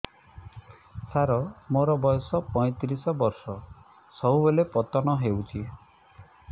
ସାର ମୋର ବୟସ ପୈତିରିଶ ବର୍ଷ ସବୁବେଳେ ପତନ ହେଉଛି